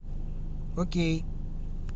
окей